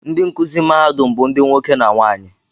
Ndị nkụzi mahadum bụ ndị nwoke na nwaanyị